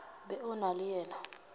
be o na le yena